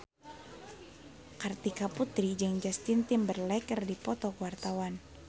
Kartika Putri jeung Justin Timberlake keur dipoto ku wartawan